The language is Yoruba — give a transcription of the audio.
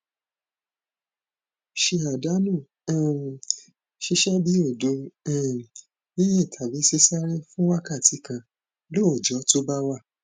ṣe àdánù um ṣíṣe bíi odo um yinyin tàbí sisáré fún wákàtí kan lóòjó tó bá wà